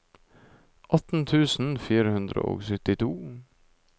atten tusen fire hundre og syttito